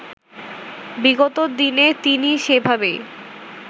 বিগত দিনে তিনি সেভাবেই